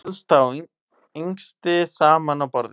Elsta og yngsti saman á borði